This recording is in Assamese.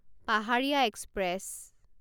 পাহাৰীয়া এক্সপ্ৰেছ